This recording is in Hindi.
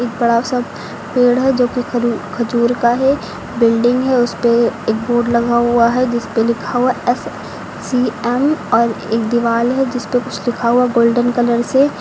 बड़ा सा पेड़ है जो खजू खजूर का है बिल्डिंग है उसपे एक बोर्ड लगा हुआ है जिसपे लिखा हुआ है एस सी एम और एक दीवाल है जिसपे कुछ लिखा हुआ है गोल्डन कलर से।